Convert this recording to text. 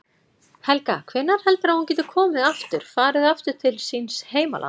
Helga: Hvenær heldurðu að hún geti komið aftur, farið aftur til síns heimalands?